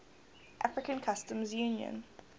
african customs union